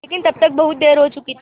लेकिन तब तक बहुत देर हो चुकी थी